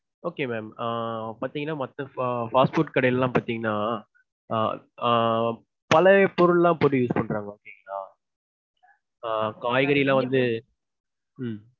okay ma'am. ஆஹ் பாத்தீங்கனா மத்த fast food கடைலலாம் பாத்தீங்கனா ஆஹ் பழைய பொருள்லாம் போட்டு use பண்றாங்க பாத்தீங்களா? ஆஹ் காய்கறிலாம் வந்துட்டு ஹம்